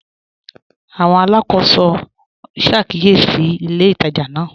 Àwọn alákọsọ n ṣàkíyèsí ilẹ̀ ìtajà náà.